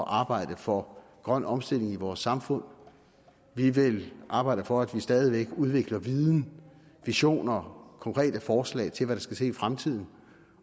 arbejde for grøn omstilling i vores samfund vi vil arbejde for at man stadig væk udvikler viden visioner og konkrete forslag til hvad der skal til i fremtiden